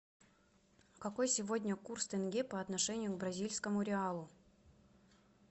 какой сегодня курс тенге по отношению к бразильскому реалу